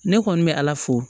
Ne kɔni bɛ ala fo